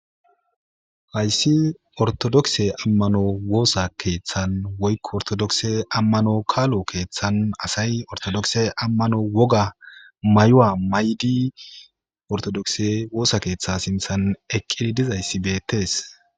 Hayssi ortodokse ammano woosa keeththan woykko ortodokse ammano kaalo keeththan asay ortodokse ammano woga may'owa maydi ortodokse woosa keeththa sinthan eqqidi dizayssi beettees.